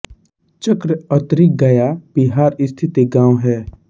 चक्र अतरी गया बिहार स्थित एक गाँव है